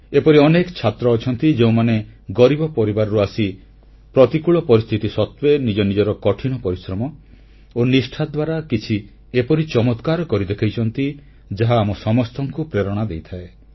ଏପରି ଅନେକ ଛାତ୍ର ଅଛନ୍ତି ଯେଉଁମାନେ ଗରିବ ପରିବାରରୁ ଆସି ପ୍ରତିକୂଳ ପରିସ୍ଥିତି ସତ୍ତ୍ୱେ ନିଜ ନିଜର କଠିନ ପରିଶ୍ରମ ଓ ନିଷ୍ଠା ଦ୍ୱାରା କିଛି ଏପରି ଚମତ୍କାର କରି ଦେଖାଇଛନ୍ତି ଯାହା ଆମ ସମସ୍ତଙ୍କୁ ପ୍ରେରଣା ଦେଇଥାଏ